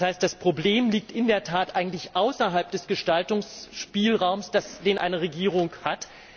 Das heißt, das Problem liegt in der Tat eigentlich außerhalb des Gestaltungsspielraums, den eine Regierung hat.